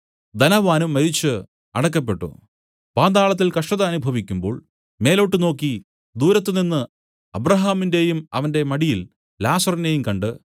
ധനവാനും മരിച്ചു അടക്കപ്പെട്ടു പാതാളത്തിൽ കഷ്ടത അനുഭവിക്കുമ്പോൾ മേലോട്ടു നോക്കി ദൂരത്ത് നിന്നു അബ്രാഹാമിനെയും അവന്റെ മടിയിൽ ലാസറിനെയും കണ്ട്